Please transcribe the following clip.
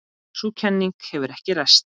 Sú kenning hefur ekki ræst.